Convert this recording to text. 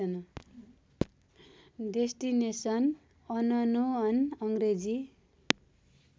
destination unknown Angrezi